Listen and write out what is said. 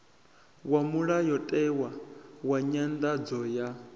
wa mulayotewa wa nyanḓadzo ya